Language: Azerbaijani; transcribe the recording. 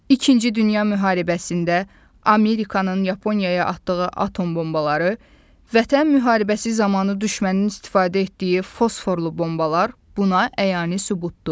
İkinci Dünya müharibəsində Amerikanın Yaponiyaya atdığı atom bombaları, Vətən müharibəsi zamanı düşmənin istifadə etdiyi fosforlu bombalar buna əyani sübutdur.